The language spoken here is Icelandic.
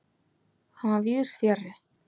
Hann var víðsfjarri.